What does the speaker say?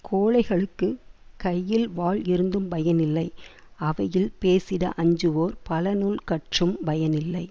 கோழைகளுக்குக் கையில் வாள் இருந்தும் பயனில்லை அவையில் பேசிட அஞ்சுவோர் பலநூல் கற்றும் பயனில்லை